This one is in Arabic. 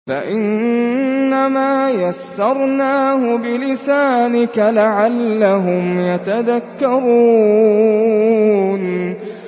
فَإِنَّمَا يَسَّرْنَاهُ بِلِسَانِكَ لَعَلَّهُمْ يَتَذَكَّرُونَ